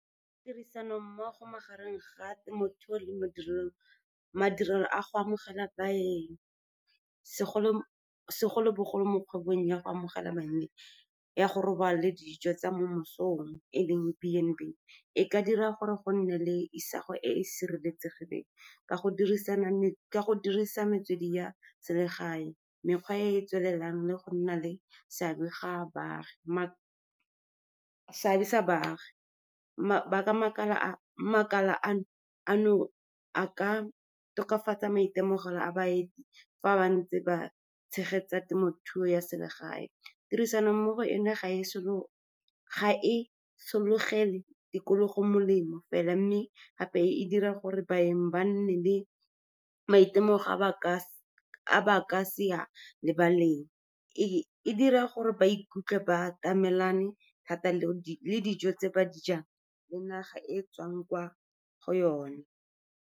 Tirisanommogo magareng ga temothuo le mo madirelo a go amogela baeng segolobogolo mo kgwebong ya go amogela baeng ya go robala le dijo tsa mo mesong, e leng B and B, e ka dira gore go nne le isago e e sireletsegileng ka go dirisa metswedi ya selegae, mekgwa e e tswelelang, le go nna le seabe sa baagi. Makala ano a ka tokafatsa maitemogelo a baeti fa ba ntse ba tshegetsa temothuo ya selegae. Tirisano mmogo eno ga e sologele le tikologo molemo fela, mme gape e dira gore baeng ba nne le maitemogelo a ba ka se a lebaleng. E dira gore ba ikutlwe ba atamelane thata le dijo tse ba di jang le naga e e tswang kwa go yone.